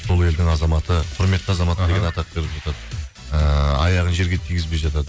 сол елдің азаматы құметті азаматы деген атақ беріп жатады ыыы аяғын жерге тигізбей жатады